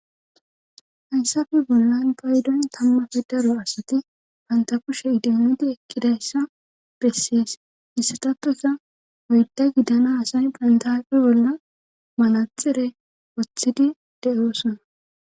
hayssafe bollan paydon tammafe daro asati pantakushe idimidi ekkidayssa bessiyes hisatappesa oyda giddana asay pantafe bolla malatxire woththidi de7oosona